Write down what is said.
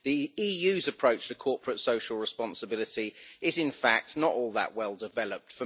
The EU's approach to corporate social responsibility is, in fact, not all that well developed.